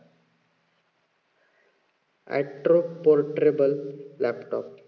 portable laptop